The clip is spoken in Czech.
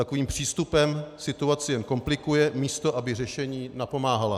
Takovým přístupem situaci jen komplikuje, místo aby řešení napomáhala.